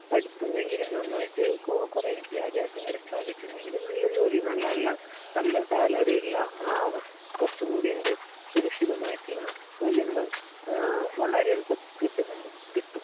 പഠിപ്പുണ്ടെങ്കിൽ, നന്നായിട്ട് കുറെ വിദ്യാഭ്യാസം കരസ്ഥമാക്കിയിട്ടുണ്ടെങ്കിൽ നല്ല ജോലി, നല്ല നല്ല നല്ല സാലറിയുള്ള, കുറച്ചുകൂടി എന്ത് സുരക്ഷിതമായിട്ടുള്ള ജോലി ഉണ്ടാകും. വളരെ എളുപ്പത്തിൽ കിട്ടുന്നുണ്ട്. കിട്ടും